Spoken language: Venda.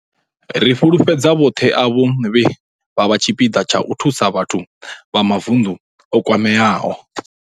Ri fhululedza vhoṱhe avho vhe vha vha tshipiḓa tsha u thusa vhathu vha mavunḓu o kwameaho.